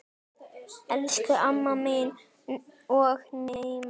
Elsku amma mín og nafna.